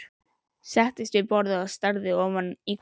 Settist við borðið og starði ofan í kortið.